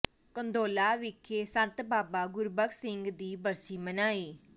ਕੰਦੋਲਾ ਵਿਖੇ ਸੰਤ ਬਾਬਾ ਗੁਰਬਖਸ਼ ਸਿੰਘ ਦੀ ਬਰਸੀ ਮਨਾਈ